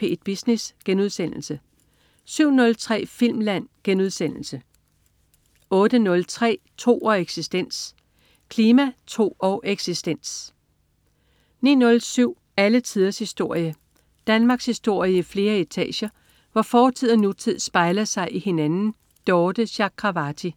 P1 Business* 07.03 Filmland* 08.03 Tro og eksistens. Klima, tro og eksistens 09.07 Alle tiders historie. Danmarkshistorie i flere etager, hvor fortid og nutid spejler sig i hinanden. Dorthe Chakravarty